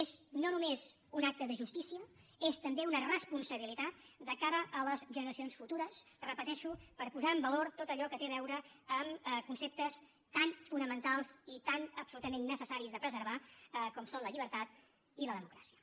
és no només un acte de justícia és també una responsabilitat de cara a les generacions futures ho repeteixo per posar en valor tot allò que té a veure amb conceptes tan fonamentals i tan absolutament necessaris de preservar com són la llibertat i la democràcia